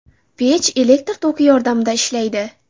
Pech elektr toki yordamida ishlaydi.